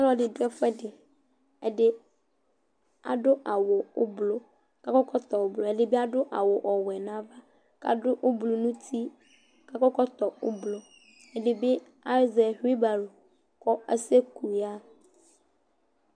Ɔlɔdɩ dʋ ɛfʋɛdɩ Ɛdɩ adʋ awʋ ʋblʋ kʋ akɔ ɛkɔtɔ ʋblʋ, ɛdɩ bɩ adʋ awʋ ɔwɛ nʋ ava kʋ adʋ ʋblʋ nʋ uti kʋ akɔ ɛkɔtɔ ʋblʋ, ɛdɩ bɩ azɛ ɣuibalu kʋ asɛku yaɣa